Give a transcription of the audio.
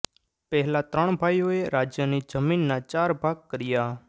પહેલાં ત્રણ ભાઈઓએ રાજ્યની જમીનના ચાર ભાગ કર્યાં